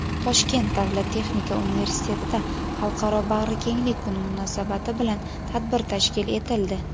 Toshkent davlat texnika universitetida "Xalqaro bag‘rikenglik kuni" munosabati bilan tadbir tashkil etildi.